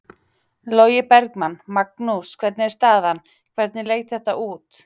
Logi Bergmann: Magnús hvernig er staðan, hvernig leit þetta út?